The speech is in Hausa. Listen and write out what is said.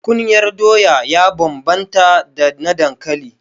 Kunyar doya ya bambanta da na dankali.